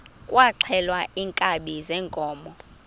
kwaxhelwa iinkabi zeenkomo